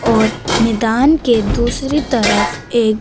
और मैदान के दूसरी तरफ एक--